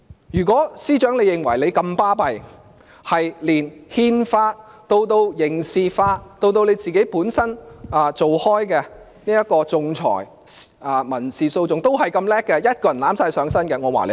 如果司長認為自己這麼了不起，連憲法、刑事法以至她本身從事的仲裁、民事訴訟都如此優秀，可以一人獨力承擔的話，我會讚賞她。